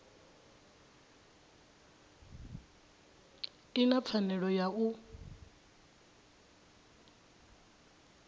i na pfanelo ya u